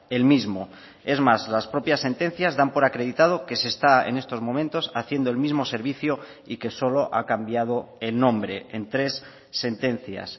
el mismo es más las propias sentencias dan por acreditado que se está en estos momentos haciendo el mismo servicio y que solo ha cambiado el nombre en tres sentencias